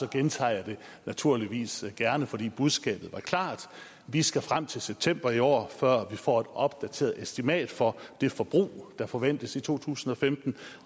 gentager jeg det naturligvis gerne fordi budskabet var klart vi skal frem til september i år før får et opdateret estimat for det forbrug der forventes i to tusind og femten